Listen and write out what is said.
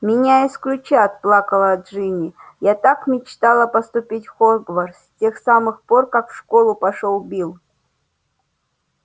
меня исключат плакала джинни я так мечтала поступить в хогвартс с тех самых пор как в школу пошёл билл